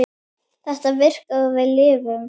Þetta virkaði og við lifðum.